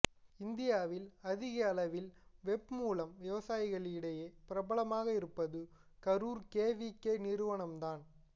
இந்தியாவில் அதிக அளவில் வெப் மூலம் விவசாயிகளிடையே பிரபலமாக இருப்பது கரூர் கேவிகே நிறுவனம்தான்